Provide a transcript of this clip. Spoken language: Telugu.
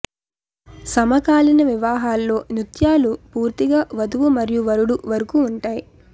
సమకాలీన వివాహాల్లో నృత్యాలు పూర్తిగా వధువు మరియు వరుడు వరకు ఉంటాయి